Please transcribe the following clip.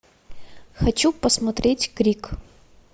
хочу посмотреть крик